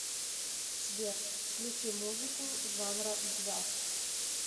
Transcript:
сбер включи музыку жанра джаз